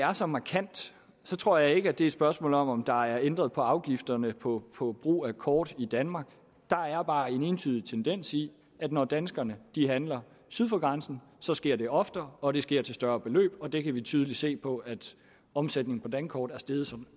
er så markant tror jeg ikke at det er et spørgsmål om at der er ændret på afgifterne på på brug af kort i danmark der er bare en entydig tendens i at når danskerne handler syd for grænsen så sker det oftere og det sker til større beløb det kan vi tydeligt se på at omsætningen på dankort er steget så